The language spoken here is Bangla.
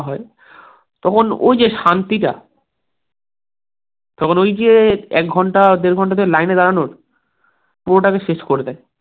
তখন ওই যে শান্তিটা, তখন ওই যে এক ঘন্টা দেড় ঘন্টা ধরে line এ দাঁড়ানোর পুরোটাকে শেষ করে দেয়.